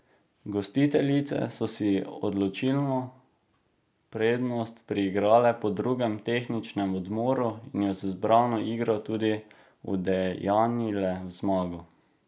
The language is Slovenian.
Gostiteljice so si odločilno prednost priigrale po drugem tehničnem odmoru in jo z zbrano igro tudi udejanjile v zmago.